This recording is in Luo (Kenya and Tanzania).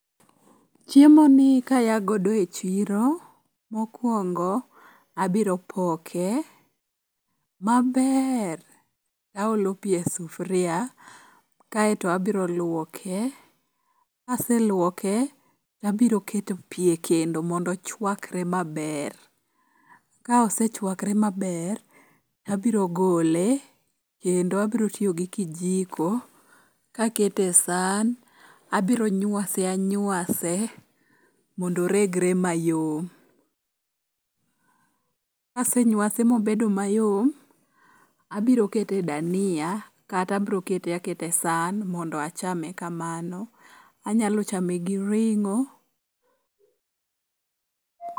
Chiemoni kaya godo e chiro, mokwongo abiro poke maber taolo pi e sufuria kaeto abiro lwoke. Kaselwoke tabiro keto pi e kendo mondo ochwakre maber. Ka osechwakre maber, abiro golo kendo abiro tiyo gi kijiko kakete e san, abiro nyuase anyuase mondo oregre mayom. Kasenywase mobedo mayom, abiro kete e dania kata abiro kete aketa e san mondo achame kamano. Anyalo chame gi ring'o.